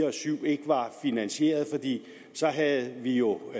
og syv ikke var finansieret fordi så havde vi jo